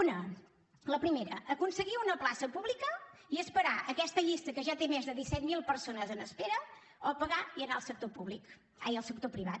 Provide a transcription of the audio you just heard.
una la primera aconseguir una plaça pública i esperar aquesta llista que ja té més de disset mil persones en espera o pagar i anar al sector privat